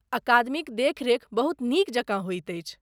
अकादमीक देखरेख बहुत नीक जकाँ होइत अछि।